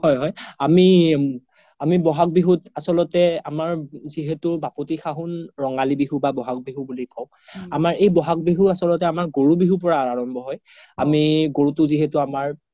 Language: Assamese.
হয় হয় আমি বহাগ বিহুত আচ্ল্তে আমাৰ যিহেতু বাপতি খাহুন ৰঙালী বিহু বা বহাগ বিহু বুলি কও আমাৰ এই বহাগ বিহু আচ্ল্তে আমাৰ গৰু বিহুৰ পৰা আৰাম্ভ্য হয় আমি গৰুটো যিহেতু আমাৰ